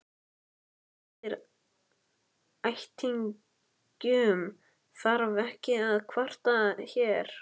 En yfir ættingjum þarf ekki að kvarta hér.